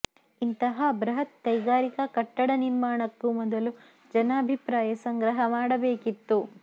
ಇಂತಹಾ ಬ್ರಹತ್ ಕೈಗಾರಿಕೆ ಕಟ್ಟಡ ನಿರ್ಮಾಣಕ್ಕೂ ಮೊದಲು ಜನಭಿಪ್ರಾಯ ಸಂಗ್ರಹ ಮಾಡಬೇಕಿತ್ತು